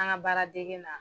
An ŋa baaradegen na